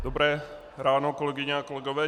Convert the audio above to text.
Dobré ráno, kolegyně a kolegové.